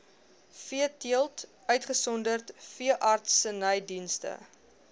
veeteelt uitgesonderd veeartsenydienste